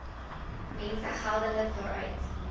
mense geldelik daaruit